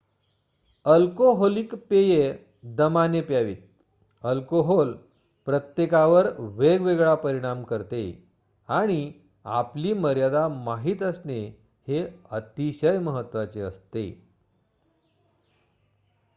alcoholic पेये दमाने प्यावीत अल्कोहोल प्रत्येकावर वेगवेगळा परिणाम करते आणि आपली मर्यादा माहित असणे हे अतिशय महत्वाचे असते